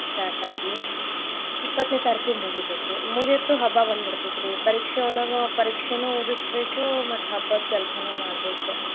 Start ಆಗಿ ಇಪ್ಪತ್ತನೇ ತಾರೀಕಿಗ್ ಮುಗಿತೇತಿ ಮುಗಿತು ಹಬ್ಬಾ ಬಂದ್ ಬಿಡ್ತೇತರಿ ಪರೀಕ್ಷೆಯೊಳಗ ಪರೀಕ್ಷೆನು ಓದಿಸ್ಬೇಕು ಮತ್ತ್ ಹಬ್ಬದ್ ಕೆಲಸಾನು ಮಾಡ್ಬೇಕ್.